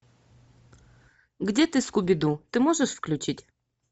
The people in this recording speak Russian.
где ты скуби ду ты можешь включить